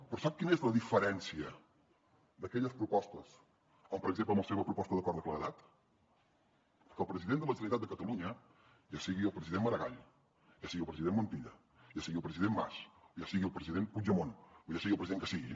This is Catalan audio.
però sap quina és la diferència d’aquelles propostes amb per exemple la seva proposta d’acord de claredat que el president de la generalitat de catalunya ja sigui el president maragall ja sigui el president montilla ja sigui el president mas ja sigui el president puigdemont o ja sigui el president que sigui